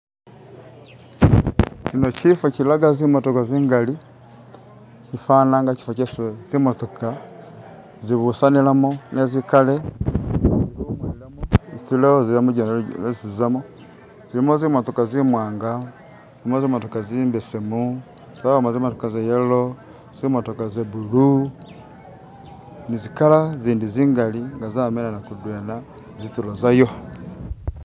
Kyino kyifo kyilaga zimotoka zingali kyifana nga kyifo kyesi zimotoka zibusanilamo ne zikale isi zilowozelamo lujendo lwesi zizamo zilimo zimotoka zimwanga, zilimo zimotoka zimbesemu, zabamo zimotoka za yellow, zimotoka za blue ni zi color zindi zingali nga zayimilana mudwena zitulo zayo.